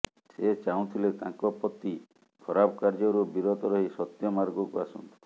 ସେ ଚାହୁଁଥିଲେ ତାଙ୍କ ପତି ଖରାପ କାର୍ଯ୍ୟରୁ ବିରତ ରହି ସତ୍ୟ ମାର୍ଗକୁ ଆସନ୍ତୁ